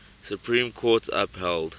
supreme court upheld